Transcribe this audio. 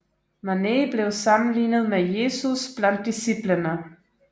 Manet blev sammenlignet med Jesus blandt disciplene